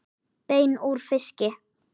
Bein úr fiski